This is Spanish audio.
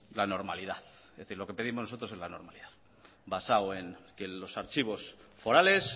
la normalidad es decir lo que pedimos nosotros es la normalidad basado en que los archivos forales